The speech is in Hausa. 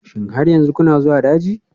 Shin har yanzu kuna zuwa daji?